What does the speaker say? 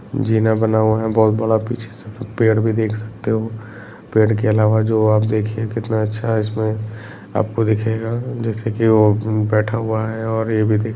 बना हुआ है बहुत बड़ा पीछे से एक पेड़ भी देख सकता हो पेड़ के अलावा जो आप देखिये कितना अच्छा है इसमें आपको दिखेंगा जैसे की वो बैठा हुआ है और ये भी दिखे --